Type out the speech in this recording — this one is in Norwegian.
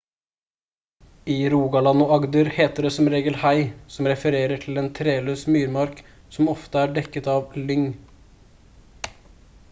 i rogaland og agder heter det som regel «hei» som refererer til en treløs myrmark som ofte er dekket av lyng